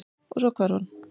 Og- svo hvarf hann.